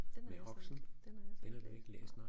Den har jeg slet den har jeg slet ikke læst